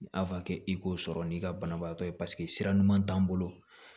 i k'o sɔrɔ n'i ka banabaatɔ ye paseke sira ɲuman t'an bolo